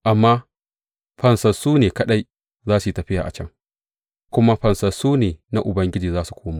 Amma fansassu ne kaɗai za su yi tafiya a can, kuma fansassu na Ubangiji za su komo.